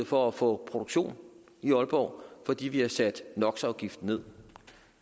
for at få produktion i aalborg fordi vi har sat no